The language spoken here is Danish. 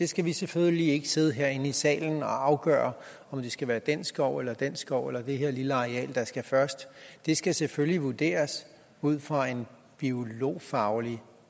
skal selvfølgelig ikke sidde herinde i salen og afgøre om det skal være den skov eller den skov eller det her lille areal der skal først det skal selvfølgelig vurderes ud fra en biologfaglig